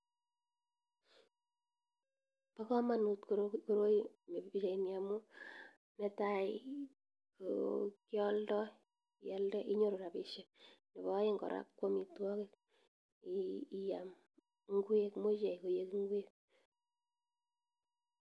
Pa kamanut koroi nemi pichaini amu netai kokialdai , ialde inyoru rabishek neo aeng kora ko amitwokik iyam imuche iyay koik ngwek.